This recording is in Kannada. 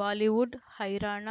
ಬಾಲಿವುಡ್ ಹೈರಾಣ